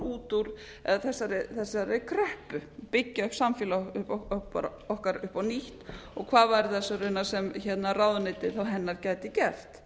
út úr þessari kreppu byggja upp samfélag okkar upp á nýtt og hvað væri það raunar sem ráðuneytið hennar gæti gert